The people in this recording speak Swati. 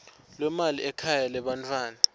lwemali ekhaya lebantfwana